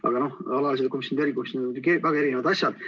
Aga noh, alatised komisjonid või erikomisjonid, need on siiski väga erinevad asjad.